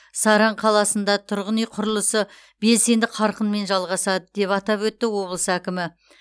саран қаласында тұрғын үй құрылысы белсенді қарқынмен жалғасады деп атап өтті облыс әкімі